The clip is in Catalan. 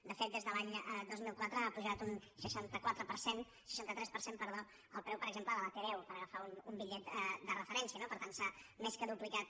de fet des de l’any dos mil quatre ha pujat un seixanta tres per cent el preu per exemple de la t deu per agafar un bitllet de referència no per tant s’ha més que duplicat